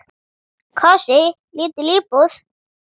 Kósí, lítil íbúð.